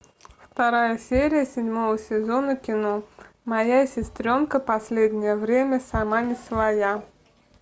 вторая серия седьмого сезона кино моя сестренка последнее время сама не своя